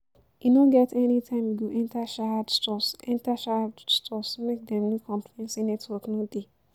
E no get any time you go enter Sahad Stores enter Sahad Stores make dem no complain say network no dey